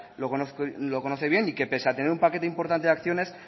lo conoce bien y que pese a tener un paquete importante de acciones